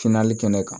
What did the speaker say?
kɛnɛ kan